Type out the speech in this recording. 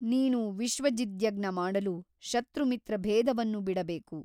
ನೀನು ವಿಶ್ವಜಿದ್ಯಜ್ಞ ಮಾಡಲು ಶತ್ರುಮಿತ್ರಭೇದವನ್ನು ಬಿಡಬೇಕು.